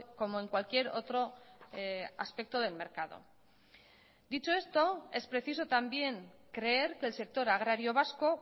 como en cualquier otro aspecto del mercado dicho esto es preciso también creer que el sector agrario vasco